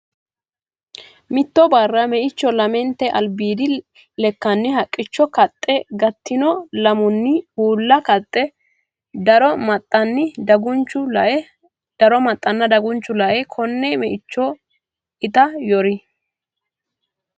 Mitto barra meichu lamente albiidi lekkanni haqqicho kaxxe gattino lamenni uulla kaxxe daro maxanna dagunchu lae konne meicho ita yori.